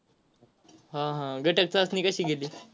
हा हा. घटक चाचणी कशी गेली.